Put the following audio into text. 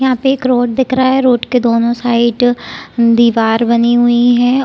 यहाँ पे एक रोड दिख रहा है रोड के दोनों साइड दीवार बनी हुई है।